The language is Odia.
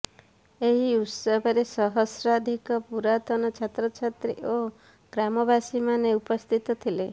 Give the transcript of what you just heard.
ଏହି ଉତ୍ସବରେ ସହସ୍ରାଧିକ ପୁରାତନ ଛାତ୍ରଛାତ୍ରୀ ଓ ଗ୍ରାମବାସୀମାନେ ଉପସ୍ଥିତ ଥିଲେ